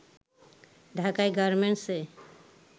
ঢাকায় গার্মেন্টস-এ